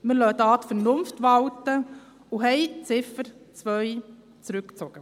Wir lassen die Vernunft walten und ziehen die Ziffer 2 zurück.